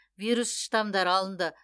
вирус штамдары алынды